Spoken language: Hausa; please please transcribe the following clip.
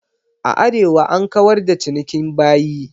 A Arewa an kawar da cinikin bayi.